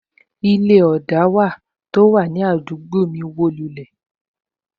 Ilé tó wà ní ibi ọna náà wo